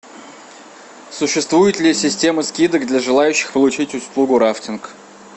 существует ли система скидок для желающих получить услугу рафтинг